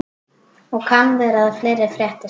Og kann vera að fleira fréttist.